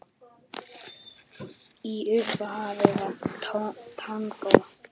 Í upphafi var tangó.